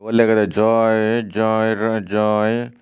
lega aagede joi joier joi.